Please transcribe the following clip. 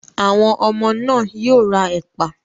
Àwọn ọmọ náà yóò ra ẹ̀pà.